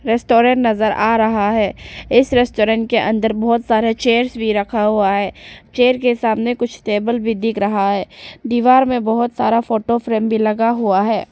Restaurant नजर आ रहा है इस रेस्टोरेंट के अंदर बहुत सारे चेयर्स भी रखा हुआ है चेयर के सामने कुछ टेबल भी दिख रहा है दीवार में बहोत सारा फोटो फ्रेम भी लगा हुआ है।